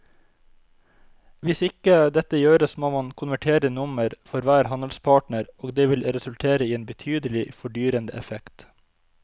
Hvis ikke dette gjøres må man konvertere nummer for hver handelspartner og det vil resultere i en betydelig fordyrende effekt.